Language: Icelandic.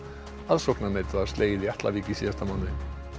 aðsóknarmet var slegið í Atlavík í síðasta mánuði